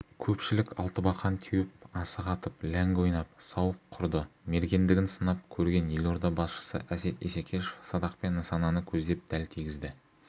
көпшілік алтыбақан теуіп асық атып ләңгі ойнап сауық құрды мергендігін сынап көрген елорда басшысы әсет исекешев садақпен нысананы көздеп дәл тигізді